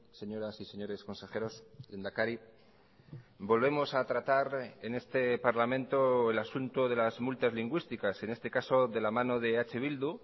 señoras y señores consejeros lehendakari volvemos a tratar en este parlamento el asunto de las multas lingüísticas en este caso de la mano de eh bildu